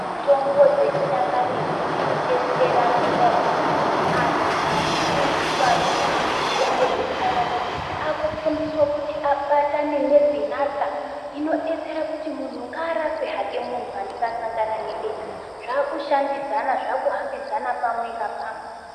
Mitombo dzechinyakaretu dzinodetsera ngendaa yekuti anhu kufundiswa anoita nezvemitombo dzechinyakaretu akufundiswa kuti abatane nezinatha inodetsere kuti muntu ngaarape hake muntu anenge asangane hake nedenda, zvaakushandidzana, zvaakuhambidzana pamwe ngapamwe.